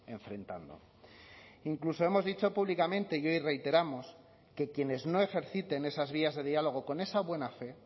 enfrentando incluso hemos dicho públicamente y hoy reiteramos que quienes no ejerciten esas vías de diálogo con esa buena fe